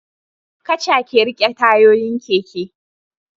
Kaca ke rike tayoyin keke